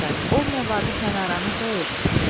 Olmaya Vaqiflə aranız dəyib?